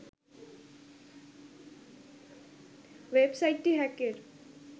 ওয়েবসাইটটি হ্যাকের